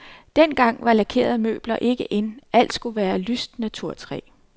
Dengang var lakerede møbler ikke in, alt skulle være lyst naturtræ.